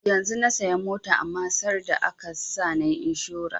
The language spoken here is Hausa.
Yanzun na saya mota amma sarda aka sa nayi inshora